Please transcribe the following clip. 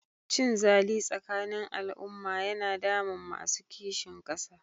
Cinzali tsakanin al'umma yana damun masu kishin ƙasa.